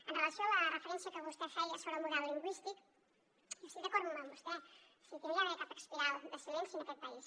amb relació a la referència que vostè feia sobre el model lingüístic jo estic d’acord amb vostè o sigui aquí no hi ha d’haver cap espiral de silenci en aquest país